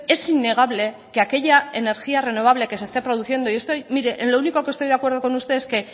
es innegable que aquella energía renovable que se esté produciendo yo estoy mire en lo único que estoy de acuerdo con usted es que